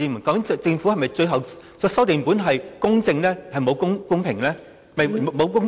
究竟政府的最後修訂本是否只有"公平"而沒有"公正"呢？